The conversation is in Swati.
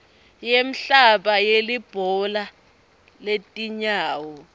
yemhlaba yelibhola letinyawo